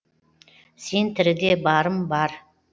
сен тіріде барым бар